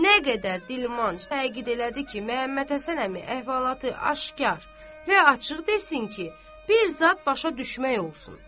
Nə qədər dilmanc təkid elədi ki, Məhəmmədhəsən əmi əhvalatı aşkar və açıq desin ki, bir zad başa düşmək olsun.